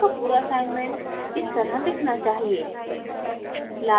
आपका पूरा assignment इस तरह दिखना चाहिए